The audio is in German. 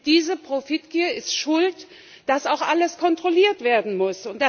Diese Profitgier ist schuld, dass auch alles kontrolliert werden muss.